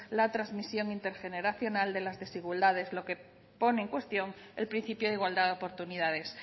la transmisión intergeneracional de las desigualdades lo que pone en cuestión el principio de igualdad de oportunidades